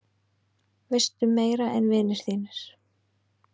Veistu meira en vinir þínir?